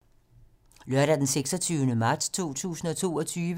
Lørdag d. 26. marts 2022